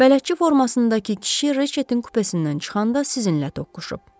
Bələdçi formasındakı kişi Reçetin kupesindən çıxanda sizinlə toqquşub.